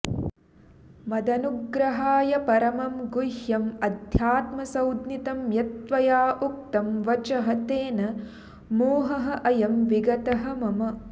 मदनुग्रहाय परमं गुह्यम् अध्यात्मसञ्ज्ञितम् यत् त्वया उक्तं वचः तेन मोहः अयं विगतः मम